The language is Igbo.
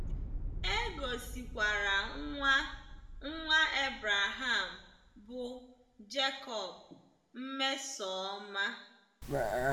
E gosikwara nwa nwa Abraham bụ́ Jecob mmesoọma.